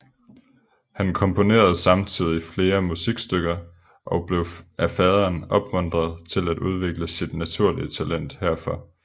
Han komponerede samtidig flere musikstykker og blev af faderen opmuntret til at udvikle sit naturlige talent herfor